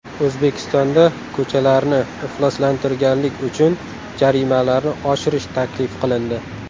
O‘zbekistonda ko‘chalarni ifloslantirganlik uchun jarimalarni oshirish taklif qilindi.